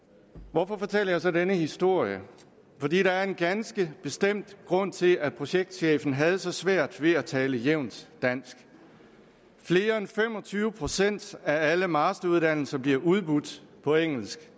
hvorfor fortæller jeg så denne historie fordi der er en ganske bestemt grund til at projektchefen havde så svært ved at tale jævnt dansk flere end fem og tyve procent af alle masteruddannelser bliver udbudt på engelsk